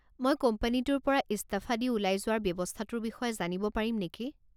মই কোম্পানীটোৰ পৰা ইস্তফা দি ওলাই যোৱাৰ ব্যৱস্থাটোৰ বিষয়ে জানিব পাৰিম নেকি?